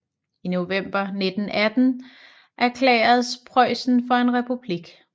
I november 1918 erklæredes Preussen for en republik